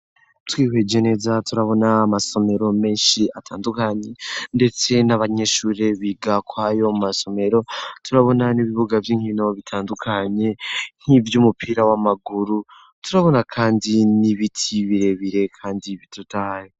Twihweje neza turabona amasomero menshi atandukanye, ndetse n'abanyeshure biga kwayo mu masomero turabona n'ibibuga vy'inkino bitandukanye nk'ivyo umupira w'amaguru turabona, kandi n'ibiti birebire, kandi bidutahe.